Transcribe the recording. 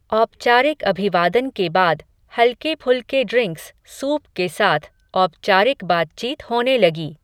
औपचारिक अभिवादन के बाद, हल्के फुल्के ड्रिंक्स, सूप के साथ, औपचारिक बातचीत होने लगी